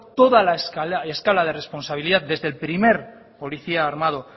toda la escala de responsabilidad desde el primer policía armado